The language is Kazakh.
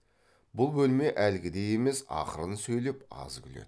бұл бөлме әлгідей емес ақырын сөйлеп аз күледі